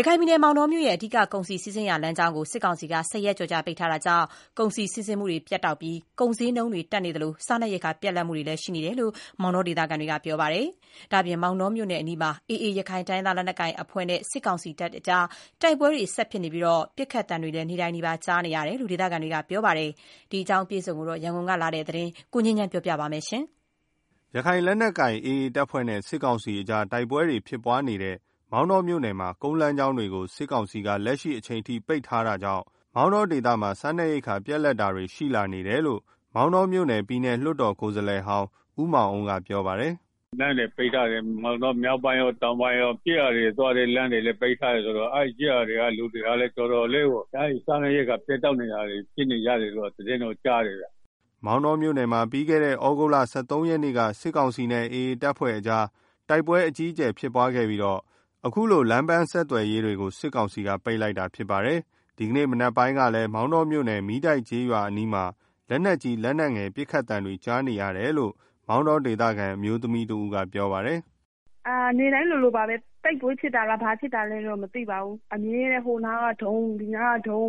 ရခိုင်ပြည်နယ် မောင်တောမြို့ရဲ့ အဓိက ကုန်စည်စီးဆင်းရာလမ်းကြောင်းကို စစ်ကောင်စီဘက်က ၁၀ ရက်ကျော်ကြာ ပိတ်ထားတာကြောင့် ကုန်စည်စီးဆင်းမှု ပြတ်တောက်ပြီး ဈေးနှုန်းတွေ တက်နေသလို စားနပ်ရိက္ခာပြတ်လပ်နေတယ်လို့ မောင်တော ဒေသခံတွေက ပြောပါတယ်။ ဒါ့အပြင် မောင်တောမြို့နယ်အနီးမှာ AA ရခိုင်တိုင်းရင်းသားလက်နက်ကိုအဖွဲ့နဲ့ စစ်ကောင်စီတပ်ကြား တိုက်ပွဲတွေဆက်ဖြစ်နေပြီး ပစ်ခတ်သံတွေလည်း နေ့တိုင်နီးပါးကြားနေရတယ်လို့ ဒေသခံတွေက ပြောပါတယ်။ ဒီအကြောင်းအပြည့်အစုံကိုတော့ ရန်ကုန်ကလာတဲ့ သတင်းကို ကိုငြိမ်းချမ်းက တင်ပြပေးထားပါတယ်။ ရခိုင်လက်နက်ကိုင် AA တပ်ဖွဲ့နဲ့ စစ်ကောင်စီကြား တိုက်ပွဲတွေဖြစ်နေတဲ့အချိန် မောင်တောမြို့နယ် မှာ ကုန်းလမ်းကြောင်းတွေကို စစ်ကောင်စီကလက်ရှိအချိန်ထိ ပိတ်ထားတာကြောင့် မောင်တော ဒေသမှာ စားနပ်ရိက္ခာပြတ်လပ်လာနေတယ်လို့ မောင်တောမြို့နယ် ပြည်နယ်လွှတ်တော်ကိုယ်စားလှယ်ဟောင်း ဦးမောင်အုန်းက ပြောပါတယ်။ “ မောင်တော မြောက်ပိုင်းရော တောင်ပိုင်းရော ကျေးရွာတွေကိုသွားတဲ့လမ်းတွေ အကုန်လုံးက ပိတ်ထားတယ်ဆိုတော့ အဲဒီကျေးရွာတွေမှာ စားနပ်ရိက္ခာပြတ်တောက်တာတွေ ကြုံနေရတယ်လို့ သိရတယ်။” မောင်တောမြို့နယ်မှာ ပြီးခဲ့တဲ့ သြဂုတ်လ ၁၃ ရက်နေ့က စစ်ကောင်စီနဲ့ AA အဖွဲ့တို့ တိုက်ပွဲ အကြီးအကျယ်ဖြစ်ပွားခဲ့ပြီးတော့ အခုလို လမ်းပန်းဆက်သွယ်ရေးတွေကို စစ်ကောင်စီက ပိတ်လိုက်တာဖြစ်ပါတယ်။ ဒီကနေ့ မနက်ပိုင်းကလည်း မောင်တောမြို့နယ် မီးတိုက်ကျေးရွာအနီးမှာ လက်နက်ကြီး လက်နက်ငယ် ပစ်ခတ်ခံတွေ ကြားနေရတယ်လို့ မောင်တောဒေသခံ အမျိုးသမီးတဦးကပြောပါတယ်။ “နေ့တိုင်းလိုလိုပါပဲ တိုက်ပွဲဖြစ်တာလား၊ ဘာဖြစ်တာလဲတော့ မသိဘူး။ ဟိုနားက ဒုံးဒုံး။ ဒီနားက ဒို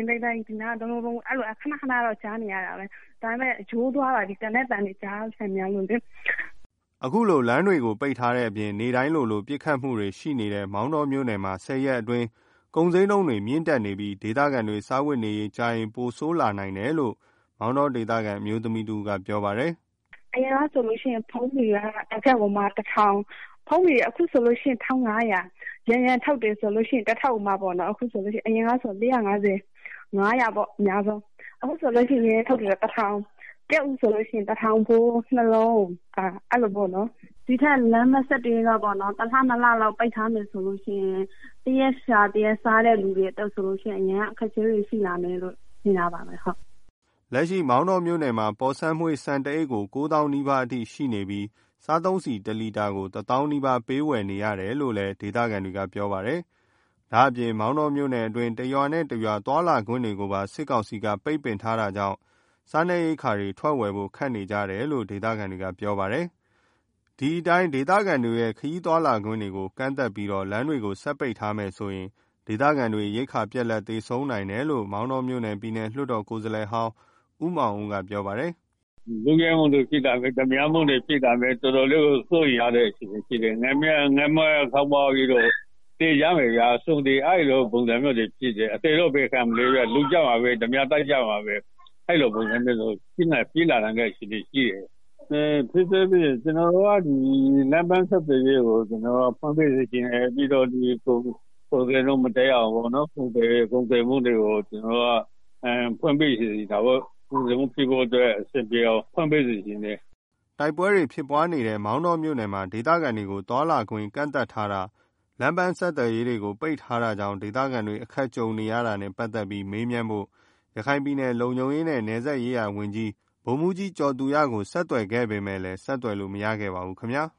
င်းဒိုင်း အမြဲတမ်းကြားနေရတယ်။ ကျမတို့အတွက်ကတော့ နေ့တိုင်းကြားနေရတော့ ရိုးနေပါပြီ။” အခု လမ်းပန်းဆက်သွယ်ရေး ပိတ်ထားတဲ့အပြင် နေ့တိုင်းလိုလိုပစ်ခတ်မှုတွေရှိနေတဲ့ မောင်တောမြို့နယ်မှာ ၁၀ ရက် အတွင်း ကုန်ဈေးနှုန်းတွေ မြင့်တက်နေပြီး ဒေသခံတွေ စားဝတ်နေရေး ကြာရင် ပိုးဆိုးလာနိုင်တယ်လို့ မောင်တောဒေသခံ အမျိုးသမီးတဦး ကပြောပါတယ်။ “အရင်တုန်းကဆိုလို့ရှိရင် ဖုန်းဘေလ်က တကဒ်ကိုမှ ၁ ထောင်။ အခုဆိုလို့ရှိရင် တကဒ်ကို ၁,၅၀၀ ပေးရတယ်။ ယံယံခေါက်ဆွဲထုတ်တွေဆိုလို့ရှိရင်လည်း အရင်က တထုပ်ကို ၄၅၀ လောက်ပဲရှိတာ အခု ၁,၀၀၀ ပေးရတယ်။ ကြက်ဥဆိုလို့ရှိရင်လည်း တလုံးကို ၅၀၀ ပေးရတယ်။ ဒီထက်ပိုပြီးတော့ လမ်းပန်းဆက်သွယ်ရေးတွေ ပိတ်ထားမယ်ဆိုရင် တရက်လုပ်မှ တရက်စားရတဲ့ သူတွေ တော်တော် အခက်အခဲဖြစ်ကြမှာသေချာတယ်။” လက်ရှိ မောင်တောမြို့နယ်မှာ ပေါ်ဆန်းမွေးဆန်တအိတ်ကို ၉ သောင်းနီးပါးအထိရှိနေပြီး စားသုံးဆီတလီတာကို ၁ သောင်းနီးပါး ပေးဝယ်နေရတယ်လို့လည်း ဒေသခံတွေက ပြောပါတယ်။ ဒါ့အပြင် မောင်တောမြို့နယ်အတွင်း တရွာနဲ့ တရွာသွားလာခွင့်တွေကိုပါ စစ်ကောင်စီက ပိတ်ထားတာကြောင့် စားနပ်ရိက္ခာတွေ ထွက်ဝယ်ဖို့ခက်နေကြတယ်လို့လည်း ဒေသခံတွေကပြောပါတယ်။ ဒီအတိုင်းသာ ဒေသခံတွေရဲ့ ခရီးသွားလာခွင့်တွေကို ကန့်သတ်ပြီးတော့ လမ်းတွေ ဆက်ပိတ် ထားမယ်ဆိုရင် ဒေသခံတွေ ရိက္ခပြတ်လပ် သေဆုံးနိုင်တယ်လို့ မောင်တောမြို့နယ် ပြည်နယ်လွှတ်တော် ကိုယ်စားလှယ်ဟောင်း ဦးမောင်အုန်းကပြောပါတယ်။ “လမ်းတွေ ဆက်ပိတ်ထားရင် ခိုးမှုတွေ၊ လုယက်မှုတွေ၊ ဓားပြတိုက်မှုတွေ ဖြစ်လာမယ်။ ငတ်မွတ်ပြီးတော့ သေကြမယ်ဗျာ၊ အသေတော့ဘယ်ခံမလဲ။ လုကြမှာပဲ၊ ဓားပြတိုက်ကြမှာပဲ။ အဲလိုမျိုးတွေ ဖြစ်လာနိုင်တဲ့အခြေအနေရှိနေတယ်။ လမ်းပန်းဆက်သွယ်ရေးကို ဖွင့်ပေးစေချင်တယ်။ ကုန်ဈေးနှုန်းမတက်ရအောင် ကုန်စည်စီးဆင်းမှုကို ဖွင့်ပေးစေချင်တယ်။” တိုက်ပွဲတွေဖြစ်ပွားနေတဲ့ မောင်တောမြို့နယ်မှာ ဒေသခံတွေ သွားလာခွင့်တွေ ကန့်သတ်ထားတာ၊ လမ်းပန်းဆက်သွယ်ရေးတွေကို ပိတ်ထားတာကြောင့် ဒေသခံတွေ အခက်ကြုံနေရတာနဲ့ပတ်သတ်ပြီး မေးမြန်းဖို့ ရခိုင်ပြည်နယ် လုံခြုံရေးနဲ့ နယ်စပ်ရေးရာဝန်ကြီး ဗိုလ်မှူးကြီး ကျော်သူရကို ဆက်သွယ် ခဲ့ပေမယ့်လည်း ဆက်သွယ်လို့ မရရှိခဲ့ပါဘူးခင်ဗျား။